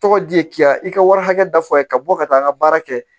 Tɔgɔ di k'i ya i ka wari hakɛ da fɔ a ye ka bɔ ka taa n ka baara kɛ